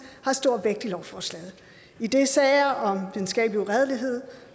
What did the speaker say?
har stor vægt i lovforslaget idet sager om videnskabelig uredelighed